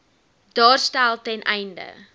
daarstel ten einde